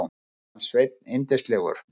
Mér fannst Sveinn yndislegur.